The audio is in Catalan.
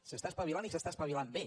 s’està espavilant i s’està espavilant bé